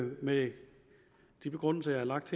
med de begrundelser jeg har lagt